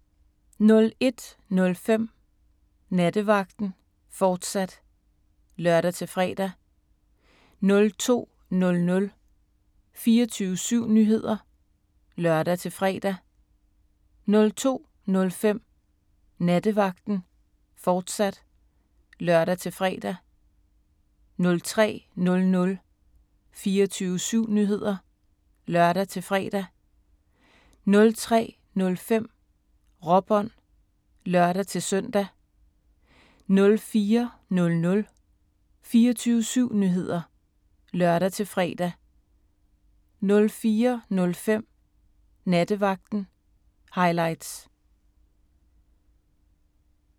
01:05: Nattevagten, fortsat (lør-fre) 02:00: 24syv Nyheder (lør-fre) 02:05: Nattevagten, fortsat (lør-fre) 03:00: 24syv Nyheder (lør-fre) 03:05: Råbånd (lør-søn) 04:00: 24syv Nyheder (lør-fre) 04:05: Nattevagten – highlights